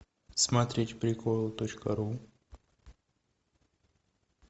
смотреть приколы точка ру